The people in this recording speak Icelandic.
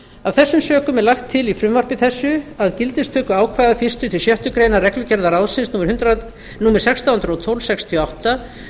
af þessum sökum er lagt til í frumvarpi þessu að gildistöku ákvæða fyrstu til sjöttu grein reglugerðar ráðsins númer sextán hundruð og tólf sextíu og átta